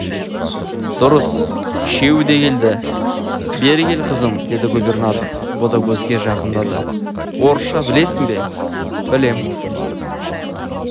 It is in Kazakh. дұрыс үшеуі де келді бері кел қызым деді губернатор ботагөзге жақындады орысша білесің бе білем